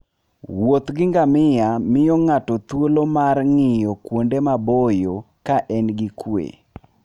Wuoth gi ngamia miyo ng'ato thuolo mar ng'iyo kuonde maboyo ka en gi kuwe.